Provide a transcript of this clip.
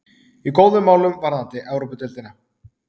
Í góðum málum varðandi Evrópudeildina.